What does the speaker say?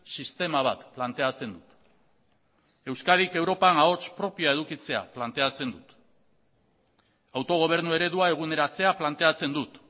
sistema bat planteatzen dut euskadik europan ahots propioa edukitzea planteatzen dut autogobernu eredua eguneratzea planteatzen dut